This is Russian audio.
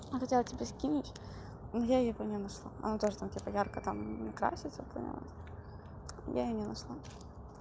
я хотела тебе скинуть но я её не нашла она тоже там ярко краситься прям я её не нашла